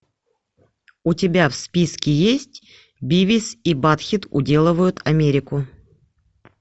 у тебя в списке есть бивис и баттхед уделывают америку